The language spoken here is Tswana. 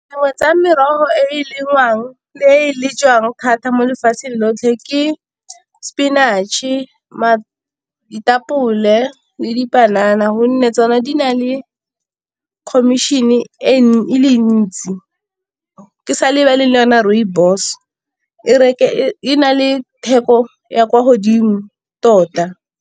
Dingwe tsa merogo e e lengwang le e le jwang thata mo lefatsheng lotlhe ke spinach-e, ditapole le dipanana gonne tsona di na le e commission e le ntsi. Ke sa lebale le yona rooibos e na le theko ya kwa godimo tota.